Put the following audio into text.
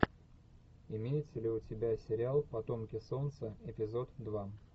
имеется ли у тебя сериал потомки солнца эпизод два